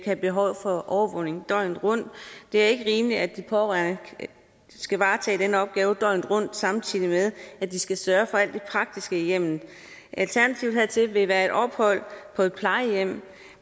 have behov for overvågning døgnet rundt det er ikke rimeligt at de pårørende skal varetage den opgave døgnet rundt samtidig med at de skal sørge for alt det praktiske i hjemmet alternativet hertil vil være et ophold på et plejehjem